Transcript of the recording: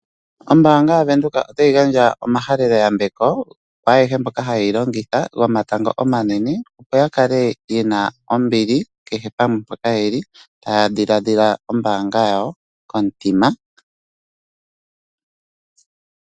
Ombanga yaVenduka otayi gandja omahalelo yambeko kwaayehe mboka haye yi longitha gomatango omanene opo ya kale ye na ombili kehe pamwe mpoka ye li taya dhiladhila ombanga yawo komutima.